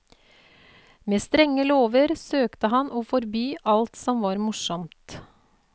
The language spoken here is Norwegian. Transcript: Med strenge lover søkte han å forby alt som var morsomt.